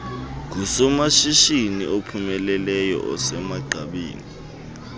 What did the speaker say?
ngusomashishini ophumeleleyo osemagqabini